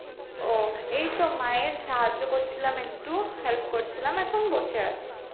ও এই তো মায়ের সাহায্য করছিলাম একটু help করছিলাম এখন বসে আছি